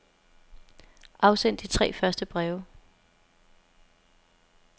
Afsend de tre første breve.